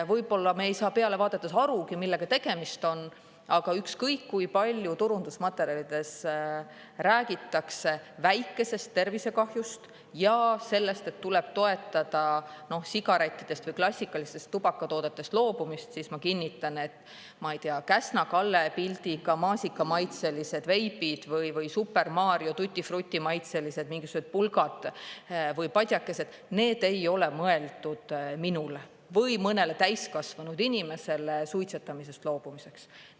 Võib-olla me ei saa peale vaadates arugi, millega tegemist on, aga ükskõik kui palju turundusmaterjalides räägitakse väikesest tervisekahjust ja sellest, et tuleb toetada sigarettidest või klassikalistest tubakatoodetest loobumist, siis ma kinnitan, et, ma ei tea, Käsna Kalle pildiga maasikamaitselised veibid või Super Mario Tutti Frutti maitselised mingisugused pulgad või padjakesed, need ei ole mõeldud minule või mõnele täiskasvanud inimesele suitsetamisest loobumiseks.